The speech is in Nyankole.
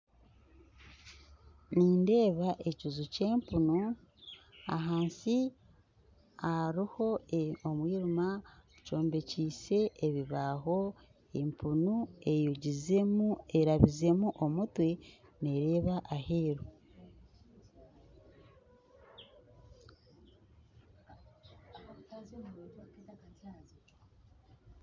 Nindeeba ekiju kya empunu ahansi hariho omwirima kyombekyise ebibaho empunu erabizemu omutwe nereeba aheru